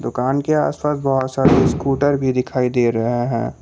दुकान के आसपास बहोत सारे स्कूटर भी दिखाई दे रहे हैं।